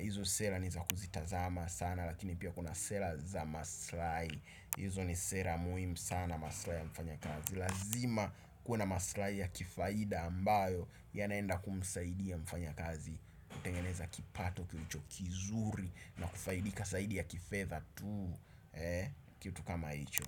Hizo sera nizakuzitazama sana lakini pia kuna sera za masilahi HIzo ni sera muhimu sana. Masilahii ya mfanyakazi. Lazima kuwe na masilahi ya kifaida ambayo yanaenda kumusaidia mfanyakazi kutengeneza kipato kilicho kizuri na kufaidika zaidi ya kifedha tu. Kitu kama hicho.